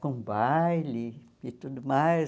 com baile e tudo mais.